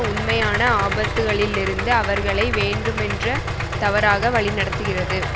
உண்மையான ஆபத்துக்களிலிருந்து அவர்களை வேண்டுமென்ற தவறாக வழி நடத்துகிறது